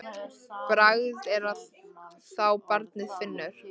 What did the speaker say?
Bragð er að þá barnið finnur!